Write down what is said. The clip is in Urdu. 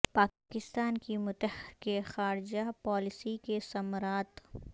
پا کستان کی متحر ک خا رجہ پا لیسی کے ثمر ات